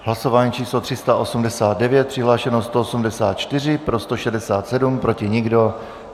Hlasování číslo 389, přihlášeno 184, pro 167, proti nikdo.